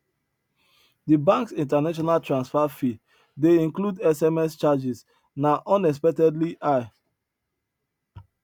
di banks international transfer fee de include sms charges na unexpectedly high